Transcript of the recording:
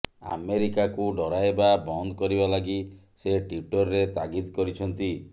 ଆମେରିକାକୁ ଡରାଇବା ବନ୍ଦ କରିବା ଲାଗି ସେ ଟ୍ବିଟର୍ରେ ତାଗିଦ୍ କରିଛନ୍ତି